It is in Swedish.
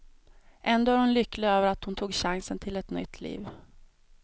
Ändå är hon lycklig över att hon tog chansen till ett nytt liv.